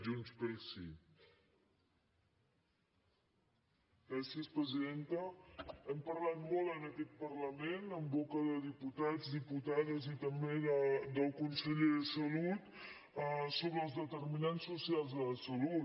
hem parlat molt en aquest parlament en boca de diputats diputades i també del conseller de salut sobre els determinants socials de la salut